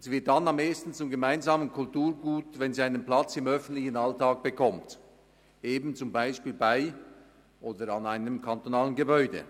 Sie wird dann am ehesten zum gemeinsamen Kulturgut, wenn sie einen Platz im öffentlichen Alltag bekommt, eben zum Beispiel bei oder an einem kantonalen Gebäude.